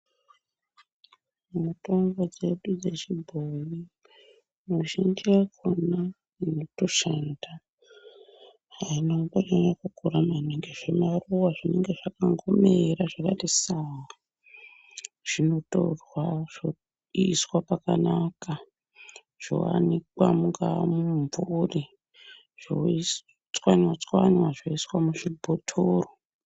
Mutombo dzedu dzechibhoyi muzhinji yakhona inotoshanda aina kumbonyanya kukura maningi zvimaruva zvinenge zvakangomira zvakati sanga zvinotorwa zvoiswa pakanaka zvoanikwa mungaa mumumvuri zvoiswi chwanywa chwanywa zvoiswe muzvibhotoro.